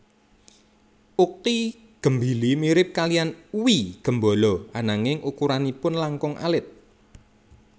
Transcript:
Uqi gembili mirip kaliyan uwi gembolo ananging ukuranipun langkung alit